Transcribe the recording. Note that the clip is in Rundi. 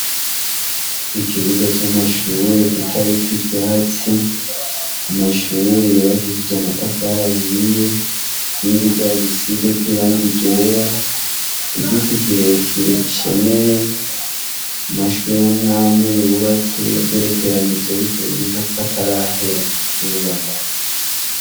Ikibuga c’amashure kitariko ivyatsi amashure yubakishije amatafari ahiye inkingi zayo zisizeko irangi ryera igiti kirekire gishemeye amashure amwe amwe agerekeranije ariko biboneka ko atarahera kubakwa.